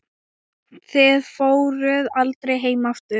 Þið fóruð aldrei heim aftur.